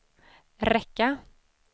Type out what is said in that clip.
räcka